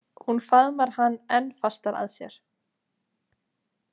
Hún faðmar hann enn fastar að sér.